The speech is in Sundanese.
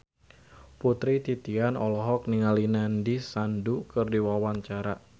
Putri Titian olohok ningali Nandish Sandhu keur diwawancara